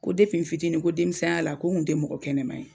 Ko n fitinin, ko denmisɛniya la ko n kun tɛ mɔgɔ kɛnɛman ye.